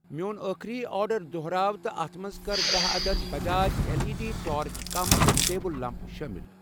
میٛون ٲخری آرڈر دۄہراو تہٕ اتھ منٛز کر دہہ عدد Bajaj L E D torch کم تہ ٹیبٕل لنٛپ شٲمِل